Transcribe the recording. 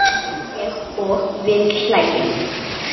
segi ég og við hlæjum.